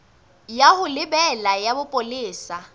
ya ho lebela ya bopolesa